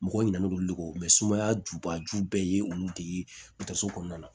Mɔgɔw ɲinɛ don olu de don sumaya jubaju bɛɛ ye olu de ye so kɔnɔna na